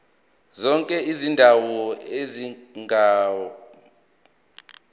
zonke izindawo ezingamagugu